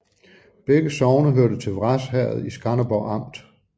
Begge sogne hørte til Vrads Herred i Skanderborg Amt